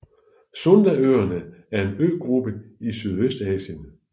Sundaøerne er en øgruppe i Sydøstasien